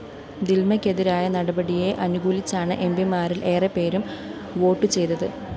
ദില്‍മയ്‌ക്കെതിരായ നടപടിയെ അനുകൂലിച്ചാണ് എംപിമാരില്‍ ഏറെപ്പേരും വോട്ടു ചെയ്തത്